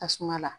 Tasuma la